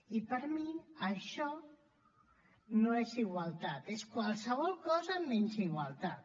i per mi això no és igualtat és qualsevol cosa menys igualtat